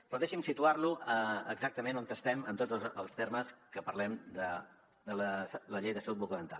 però deixi’m situar lo exactament on estem en tots els termes que parlem de la llei de salut bucodental